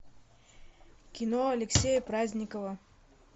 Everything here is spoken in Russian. кино алексея праздникова